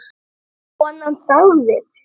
Konan sagði